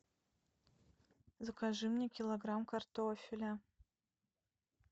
закажи мне килограмм картофеля